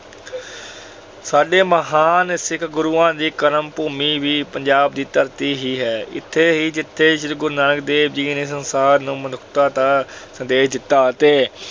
ਸਾਡੇ ਮਹਾਨ ਸਿੱਖ ਗੁਰੂਆਂ ਦੀ ਕਰਮ ਭੂਮੀ ਵੀ ਪੰਜਾਬ ਦੀ ਧਰਤੀ ਹੀ ਹੈ। ਇਥੇ ਹੀ ਜਿਥੇ ਸ਼੍ਰੀ ਗੁਰੂ ਨਾਨਕ ਦੇਵ ਜੀ ਨੇ ਸੰਸਾਰ ਨੂੰ ਮਨੁੱਖਤਾ ਦਾ ਸੰਦੇਸ਼ ਦਿੱਤਾ ਅਤੇ